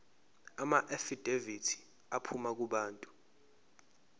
amaafidavithi aphuma kubantu